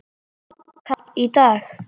Hláka í dag.